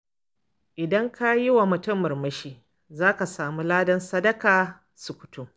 Idan ka yi wa mutum murmushi, za ka samu ladan sadaka sukutum.